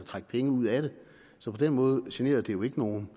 trække penge ud af det så på den måde generer det jo ikke nogen